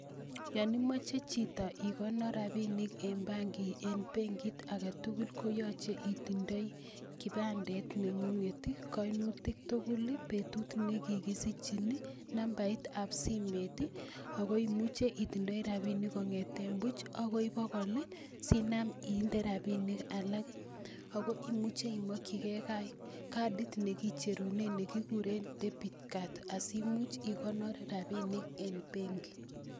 Yon imoche chito ikonor rabik eng benkit ake tukul ko yoche itindoi kibandet nengunget ii, kainutik tugul ii, betut ne kikisichin ii, nambait ab simet ii, ako imuche itindoi rabinik kongeten buch akoi bokol ii sinam inde Rabinik alak, ako imuche imokyike cadit ne kicherunen ne kikuren debit card asimuch ikonor rabik eng benki.